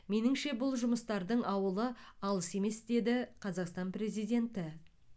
меніңше бұл жұмыстардың ауылы алыс емес деді қазақстан президенті